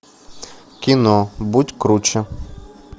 кино будь круче